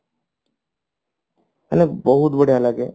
ମାନେ ବହୁତ ବଢିଆ ଲାଗେ